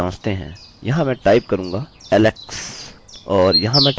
चलिए इसे जाँचते है यहाँ मैं टाइप करूँगा alex